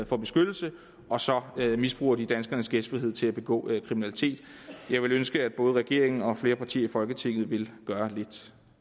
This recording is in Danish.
for beskyttelse og så misbruger de danskernes gæstfrihed til at begå kriminalitet jeg ville ønske at både regeringen og flere partier i folketinget ville gøre lidt